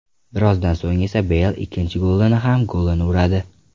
Birozdan so‘ng esa Beyl ikkinchi golini ham golini uradi.